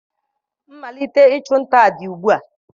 Mmalite ịchụ nta dị ugbu a